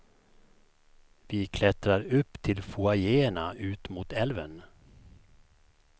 Vi klättrar upp till foajéerna ut mot älven.